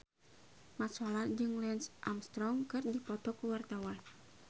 Mat Solar jeung Lance Armstrong keur dipoto ku wartawan